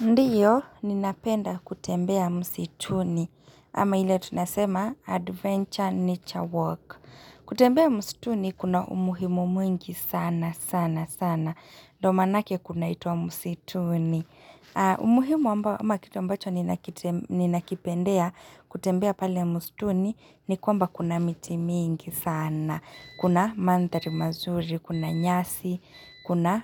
Ndio, ninapenda kutembea msituni, ama ile tunasema adventure nature walk. Kutembea msituni, kuna umuhimu mwingi sana, sana, sana. Ndo manake kunaitwa msituni. Umuhimu ambao ama kitu ambacho ninakipendea kutembea pale msituni, ni kwamba kuna miti mingi sana. Kuna madhari mazuri, kuna nyasi, kuna